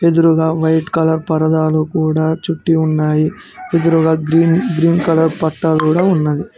ఎదురుగా white colour పరదాలు కూడా చుట్టి ఉన్నాయి ఎదురుగా గ్రీన్ గ్రీన్ కలర్ పట్టా కూడా ఉన్నది.